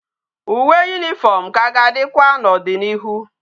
Uwe uniform ka ga adikwa na odi na ihu